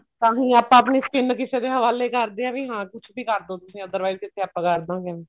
ਤਾਹੀਂ ਆਪਾਂ ਆਪਣੀ skin ਕਿਸੇ ਦੇ ਹਵਾਲੇ ਕਰਦੇ ਹਾਂ ਵੀ ਹਾਂ ਕੁੱਛ ਵੀ ਕਰਦੋ ਤੁਸੀਂ otherwise ਕਿਉਂਕਿ ਆਪਾਂ ਕਰਦਾਂਗੇ